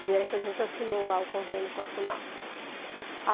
Né, que a gente assinou lá o convênio com a Funapes.